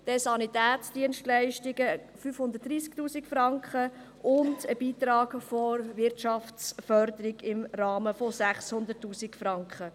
Zudem gibt es Sanitätsdienstleistungen von 530 000 Franken und einen Beitrag von der Wirtschaftsförderung im Rahmen von 600 000 Franken.